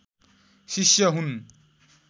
शिष्य हुन्